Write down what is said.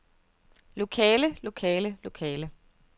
lokale lokale lokale